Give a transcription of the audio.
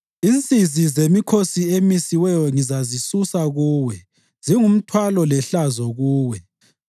“Insizi zemikhosi emisiweyo ngizazisusa kuwe; zingumthwalo lehlazo kuwe.